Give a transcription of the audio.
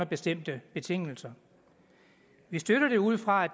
bestemte betingelser vi støtter det ud fra